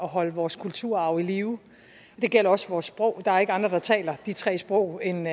holde vores kulturarv i live det gælder også vores sprog der er ikke andre der taler de tre sprog end